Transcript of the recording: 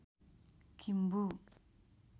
Kimbu